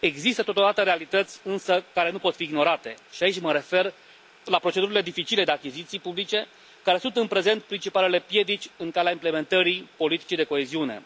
Există, totodată, realități, însă care nu pot fi ignorate, și aici mă refer la procedurile dificile de achiziții publice care sunt în prezent principalele piedici în calea implementării politicii de coeziune.